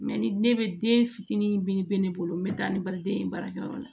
ni ne be den fitinin mi be ne bolo n be taa ni baliden ye baarakɛyɔrɔ la